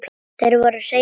Þar voru hreinar línur.